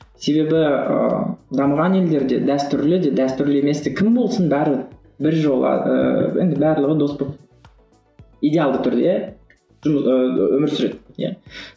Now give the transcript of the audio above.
себебі ыыы дамыған елдерде дәстүрлі де дәстүрлі емес те кім болсын бәрібір бір ыыы енді барлығы дос болып идеалды түрде ы өмір сүреді иә